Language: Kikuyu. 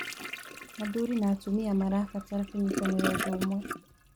Athuri na atumia marabatara kũnyitanĩra ũndũ ũmwe.